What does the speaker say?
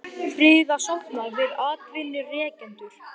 Friðarsáttmáli við atvinnurekendur